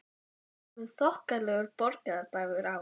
Það var kominn þokkalegur borgarbragur á